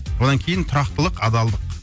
одан кейін тұрақтылық адалдық